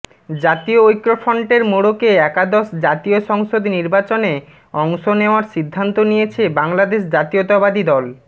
জাতীয় ঐক্যফ্রন্টের মোড়কে একাদশ জাতীয় সংসদ নির্বাচনে অংশ নেওয়ার সিদ্ধান্ত নিয়েছে বাংলাদেশ জাতীয়তাবাদী দল